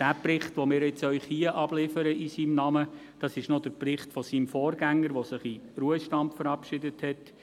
Den Bericht, den wir Ihnen hier in seinem Namen abliefern, ist noch derjenige seines Vorgängers, der sich in den Ruhestand verabschiedet hat.